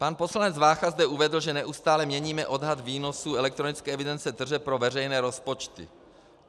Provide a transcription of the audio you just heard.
Pan poslanec Vácha zde uvedl, že neustále měníme odhad výnosu elektronické evidence tržeb pro veřejné rozpočty.